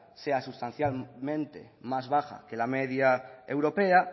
sea sustancialmente más baja que la media europea